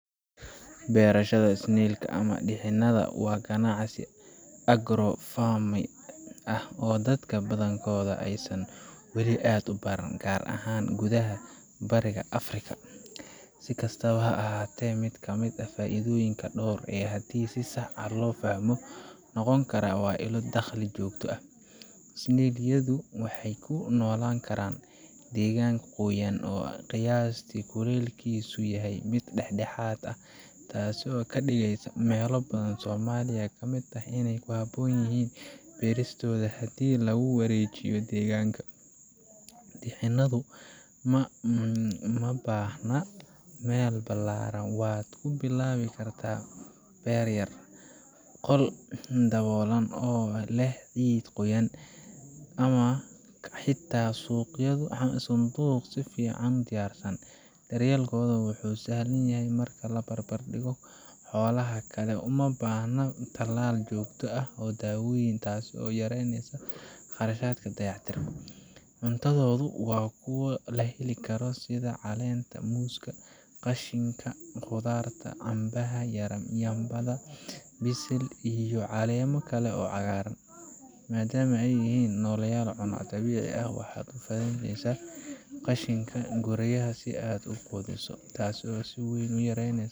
Beerashaada snail ka idhinadha waa ganacsi agro farming ah oo dadka badankodha ee wali aad u baranin gar ahan gudhaha bariga afrika si kastawa ha ahate faidhoyinka dor ah ee hadi si sax ah lo fahmo karaa waa ila daqli jogta snail yadhu waxee kunolan karan degan qoyan oo qiyastisa wali ah u yahay mid dex. dexaad ah oo kadigeso mela badan oo somaliya kamiid tahay in ee ku habon yihin beeristodha hadii warejiyo deganka, bixinadhu u ma bahna meel balaran wad ku bilawi kartaa beer yar qol yar oo leh cid qoyan ama xita suqyaada sifican wuxuu sahlan yahay in la bar bar digo xolaha kale uma bahna talalka oo dabad ah tas oo yareynesa dayac tirka qarashaadka cuntadhodu waa kuwa leh sitha calenta qoska qashinka xoladka bisil iyo calen kale madama ee yihin nolol dabici ah waxee u faidheynesa qashinka goreyasha tasi oo siweyn u ah.